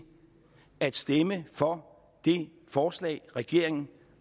at stemme for det forslag regeringen